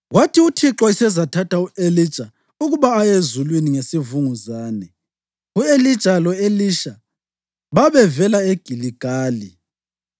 Kwathi uThixo esezathatha u-Elija ukuba aye ezulwini ngesivunguzane, u-Elija lo-Elisha babevela eGiligali.